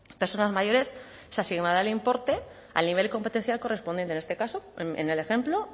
personas mayores se asignará el importe al nivel competencial correspondiente en este caso en el ejemplo